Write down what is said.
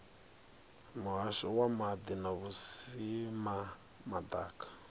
muhasho wa maḓi na vhusimama ḓaka